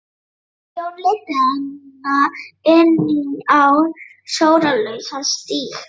Jón leiddi hana inn á sólarlausan stíg.